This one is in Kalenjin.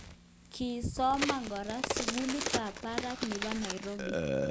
Kii somane kora, sugulit ab barak nebo Nairobi